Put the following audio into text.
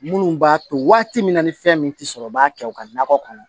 Minnu b'a to waati min na ni fɛn min tɛ sɔrɔ u b'a kɛ u ka nakɔ kɔnɔ